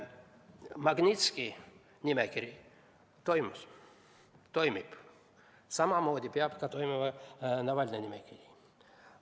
Magnitski nimekiri toimib, samamoodi peab toimima ka Navalnõi nimekiri.